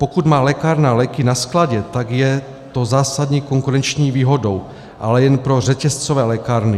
Pokud má lékárna léky na skladě, tak je to zásadní konkurenční výhodou, ale jen pro řetězcové lékárny.